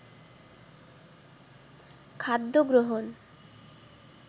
খাদ্য গ্রহণ